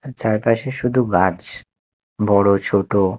চারপাশে শুধু গাছ বড় ছোটো।